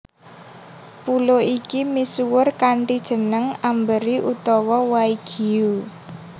Pulo iki misuwur kanthi jeneng Amberi utawa Waigiu